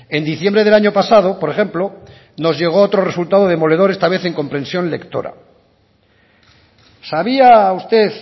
en diciembre del año pasado por ejemplo nos llegó otro resultado demoledor esta vez en comprensión lectora sabía usted